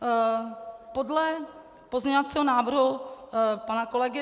Podle pozměňovacího návrhu pana kolegy